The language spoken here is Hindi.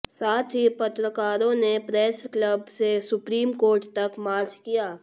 साथ ही पत्रकारों ने प्रेस क्लब से सुप्रीम कोर्ट तक मार्च किया